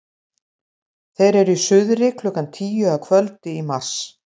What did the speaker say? þeir eru í suðri klukkan tíu að kvöldi í mars